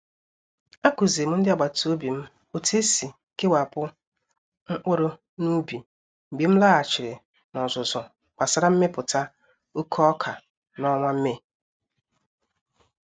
A Kụzirim ndị agbata obi m otu esi kewapụ mkpụrụ n’ubi mgbe m laghachiri n'ọzụzụ gbasara mmepụta oke oka n'ọnwa Mee.